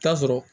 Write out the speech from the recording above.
Taa sɔrɔ